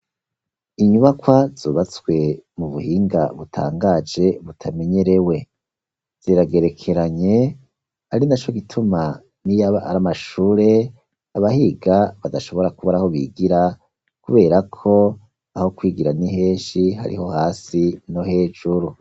Inyubakwa zubatswe mu buhinga butangaje butamenyerewe ziragerekeranye ari naco gituma niyaba ari amashure abahiga badashobora kubora aho bigira kubera ko aho kwigira ni heshi hariho hasi no hejuru.